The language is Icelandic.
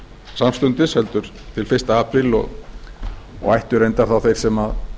samstundis heldur hinn fyrsti apríl og ættu reyndar þá þeir sem